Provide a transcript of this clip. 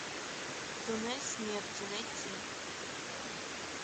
туннель смерти найти